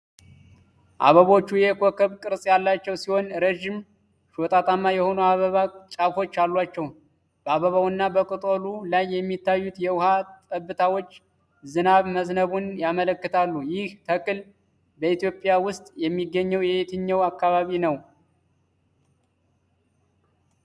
አበቦቹ የኮከብ ቅርጽ ያላቸው ሲሆን፣ ረዥም ሾጣጣማ የሆኑ የአበባ ጫፎች አሏቸው። በአበባውና በቅጠሉ ላይ የሚታዩት የውሃ ጠብታዎች ዝናብ መዝነቡን ያመለክታሉ። ይህ ተክል በኢትዮጵያ ውስጥ የሚገኘው የትኛው አካባቢ ነው?